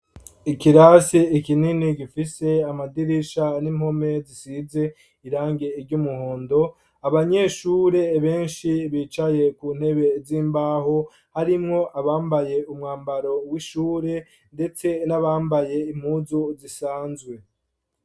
Ikirasi ikinini gifise amadirisha n'impome zisize irangi iry' umuhondo abanyeshure benshi bicaye ku ntebe z'imbaho harimwo abambaye umwambaro w'ishure, ndetse n'abambaye impuzu zisanzwe.